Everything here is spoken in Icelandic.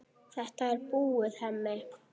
Þetta er búið, Hemmi.